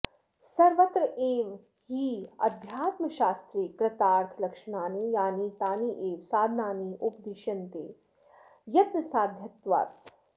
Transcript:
सर्वत्रैव हि अध्यात्मशास्त्रे कृतार्थलक्षणानि यानि तान्येव साधनानि उपदिश्यन्ते यत्नसाध्यत्वात्